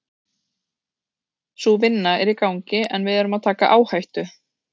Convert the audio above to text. Sú vinna er í gangi en við erum að taka áhættu.